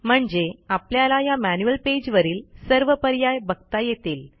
म्हणजे आपल्याला या मॅन्युअल पेज वरील सर्व पर्याय बघता येतील